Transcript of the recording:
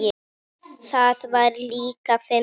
Það var líka fyndið.